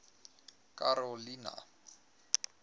karolina